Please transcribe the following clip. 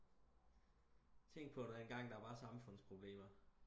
tænk på der engang der var samfundsproblemer